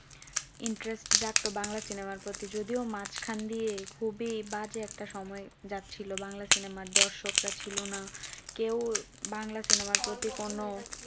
Interest জাগতো Bangla cinema র প্রতি যদিও মাঝখান দিয়ে খুবই বাজে একটা সময় যাচ্ছিল বাংলা cinema র দর্শকরা ছিল না কেউ বাংলা cinema আর প্রতি কোনো